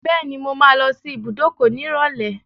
Bẹ́ẹ̀ni, mo máa lọ sí ibùdókọ̀ nírọ̀lẹ́.